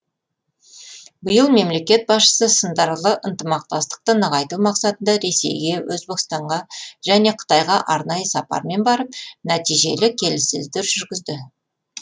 биыл мемлекет басшысы сындарлы ынтымақтастықты нығайту мақсатында ресейге өзбекстанға және қытайға арнайы сапармен барып нәтижелі келіссөздер жүргізді